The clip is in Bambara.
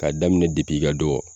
Ka daminɛ depi i ka dɔgɔ